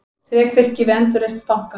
Þrekvirki við endurreisn banka